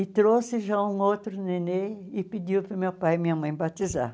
E trouxe já um outro nenê e pediu para o meu pai e minha mãe batizar.